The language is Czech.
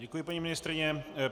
Děkuji paní ministryni.